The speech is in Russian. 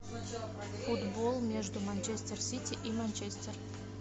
футбол между манчестер сити и манчестер